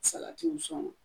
Salatiw sɔn